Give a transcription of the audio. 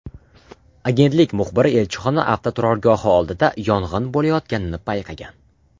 Agentlik muxbiri elchixona avtoturargohi oldida yong‘in bo‘layotganini payqagan.